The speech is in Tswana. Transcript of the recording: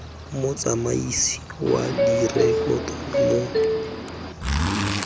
motsamaisi wa direkoto mo kantorong